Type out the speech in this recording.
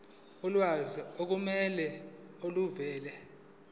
ulwazi olufanele oluvela